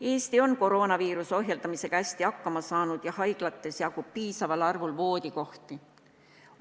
Eesti on koroonaviiruse ohjeldamisega hästi hakkama saanud ja haiglates jagub piisaval arvul voodikohti.